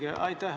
Aitäh!